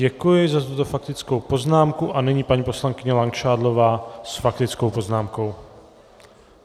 Děkuji za tuto faktickou poznámku a nyní paní poslankyně Langšádlová s faktickou poznámkou.